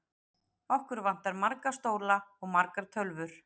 Okkur vantar marga stóla og margar tölvur.